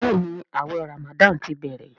Béèni awé ramadan tí bẹrẹ.